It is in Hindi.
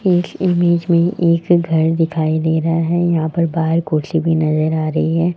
इस इमेज में एक घर दिखाई दे रहा है यहां पर बाहर कुर्सी भी नजर आ रही है।